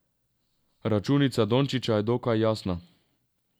Računica Dončića je dokaj jasna.